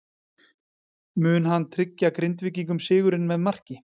Mun hann tryggja Grindvíkingum sigurinn með marki?